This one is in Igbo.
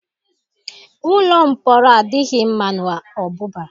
Ụlọ mpọrọ adịghị mma ọbụba.